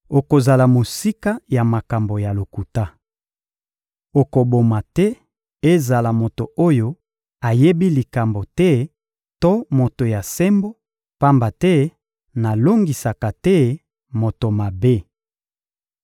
Okozala mosika ya makambo ya lokuta. Okoboma te ezala moto oyo ayebi likambo te to moto ya sembo; pamba te nalongisaka te moto mabe.